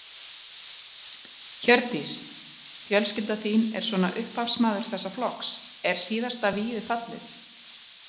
Hjördís: Fjölskylda þín er svona upphafsmaður þessa flokks, er síðasta vígið fallið?